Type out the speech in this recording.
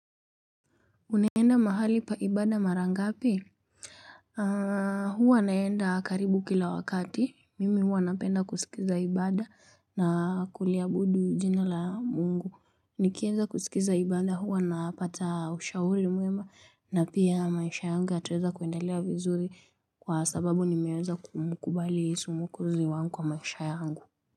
Unaenda mahali pa ibada mara ngapi huwa naenda karibu kila wakati mimi huwa napenda kusikiza ibada na kuliabudu jina la mungu nikieza kusikiza ibada huwa napata ushahuri mwema na pia maisha yangu yatweza kuendelia vizuri kwa sababu nimeweza kumkubali yesu mwokozi wangu kwa maisha yangu.